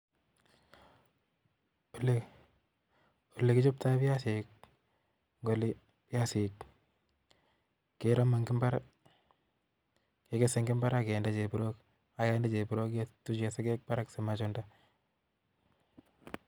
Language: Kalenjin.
olekichoptoi biasiik en olio, keromu en imbaar, kekees en imbar ak kinder kityondosiek ak guniok akeib en barak simachundaa.